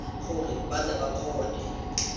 gore ba tle ba kgone